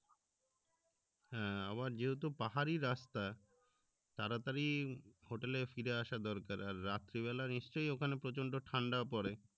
হ্যাঁ আবার যেহেতু পাহাড়ি রাস্তা তাড়াতাড়ি hotel ফিরে আশা দরকার আর রাত্রি বেলা নিশ্চই ওখানে প্রচন্ড ঠান্ডাও পরে